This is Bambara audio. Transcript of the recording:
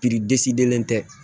disiden tɛ